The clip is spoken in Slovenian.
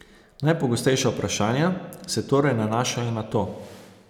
Najpogostejša vprašanja, se torej nanašajo na to.